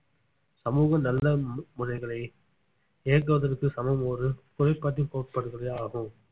சமூகம் நல்ல மு~ முறைகளை இயக்குவதற்கு சமம் ஒரு கோட்பாடுகளே ஆகும்